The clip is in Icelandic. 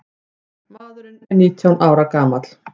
Maðurinn er nítján ára gamall.